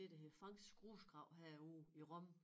Det der hedder Franks Grusgrav herude i Rom